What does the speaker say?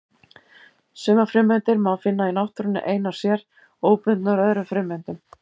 Sumar frumeindir má finna í náttúrunni einar sér, óbundnar öðrum frumeindum.